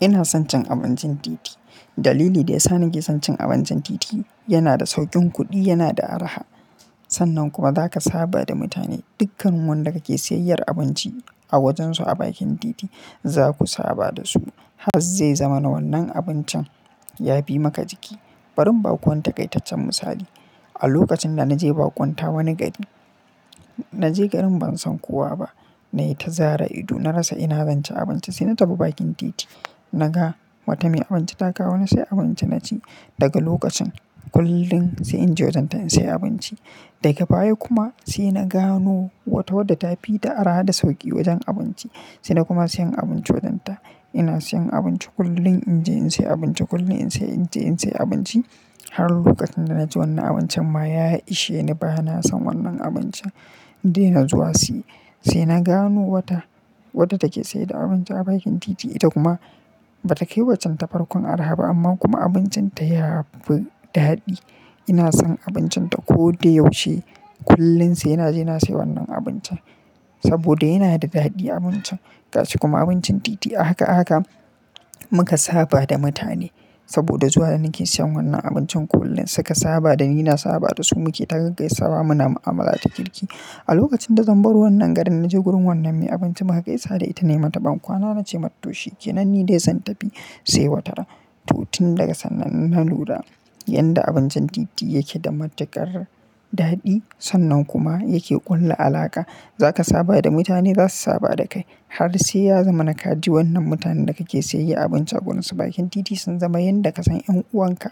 Ina son cin abincin titi. Dalili da ya sa nake son cin abincin titi yana da sauƙin kuɗi, yana da araha. Sannan kuma za ka saba da mutane. Dukkan wanda ka ke sayayyar abinci a wajen su a bakin titi za ku saba da su. Haz zai zama na wannan abincin ya bi maka jiki. Bari in ba ku wani taƙaitaccen misali. A lokacin da na je baƙunta wani gari, na je garin ban san kowa ba. Na yi ta zare ido, na rasa ina zanci abinci sai na tafi bakin titi. Na ga wata mai abinci ta kawo na sai abinci na ci. Daga lokacin kullum sai in je wajen ta in sai abinci. Daga baya kuma sai na gano wata wadda ta fi da araha da sauƙi wajen abinci. Sai na kuma siyan abinci wajen ta. Ina siyan abinci kullum in je in sai abinci kullum sai in je in sai abinci. Har lokacin da na ji wannan abincin ma ya ishe ni ba na san wannan abincin indaina zuwa siye. Sai na gano wata, watta take saida abinci a bakin titi. Ita kuma ba ta kai wacan ta farkon araha ba amma kuma abincin ta ya fi daɗi. Ina son abincin ta ko da yaushe. Kullum sai na je na sai wannan abincin saboda yana da daɗi abincin. Kashi kuma abincin titi ahaka ahaka muka saba da mutane saboda zuwa da nake siyan wannan abincin kullum suka saba dani na saba da su muke ta gaggaisawa muna mu'amala ta kirki. A lokacin da zan bar wannan garin na je gurin wannan mai abinci muka gaisa da ita nayi mata ban kwana na ce mat to shi ke nan ni dai zan tafi sai wataran. To tin daga sannan na lura yanda abincin titi yakeda matukar daɗi. Sannan kuma yake ƙulla alaƙa. Za ka saba da mutane za su saba da kai. Har sai ya zamana ka ji wannan mutanen da ka ke saye abinci a gurunsu bakin titi sun zama yan da ka san 'yan'uwanka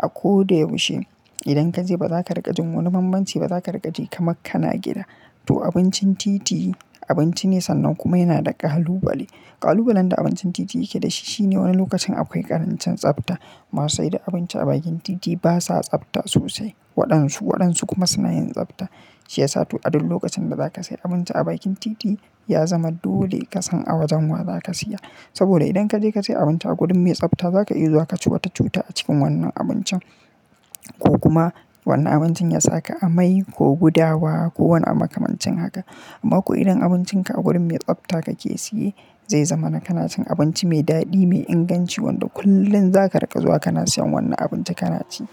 a ko da yaushe. Idan ka je ba za ka rigajin wani bambanci ba. Za ka rikaji kamar kana gida. To abincin titi abinci ne sannan kuma yana da ƙalubale. Ƙalubalen da abincin titi yake da shi shine wani lokacin akwai ƙarancin tsabta. Masu saida abinci a bakin titi ba sa tsabta sosai. Waɗansu waɗansu kuma suna yin tsabta. Shi ya sa to addu lokacin da za ka sai abinci a bakin titi ya zama dole ka san a wajan wa za ka siya. Saboda idan ka je ka sai abinci a gurin mai tsabta za ka iya zuwa kaci wata cuta a cikin wannan abincin. Ko kuma wannan abincin ya sa ka amai ko gudawa ko wani abu makamancin haka. Amma ko idan abincin ka a gurin mai tsabta ka ke siye zai zama na ka nacin abinci mai daɗi, mai inganci wanda kullum za ka riƙa zuwa kana siyan wannan abinci ka na ci.